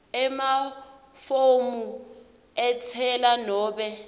emafomu entsela nobe